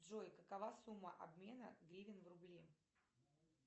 джой какова сумма обмена гривен в рубли